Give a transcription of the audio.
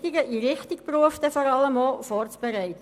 den Berufseinstieg vorzubereiten.